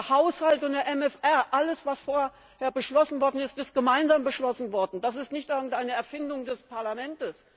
Der Haushalt und der MFR, alles, was vorher beschlossen wurde, ist gemeinsam beschlossen worden. Das ist nicht irgendeine Erfindung des Parlaments.